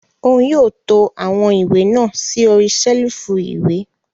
Òún yóò to awọn ìwé náà sí ori ṣelifu ìwé